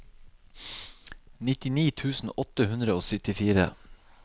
nittini tusen åtte hundre og syttifire